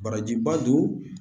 Barajiba don